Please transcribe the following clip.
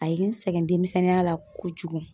A ye n sɛgɛn demisɛnninya la kojugun.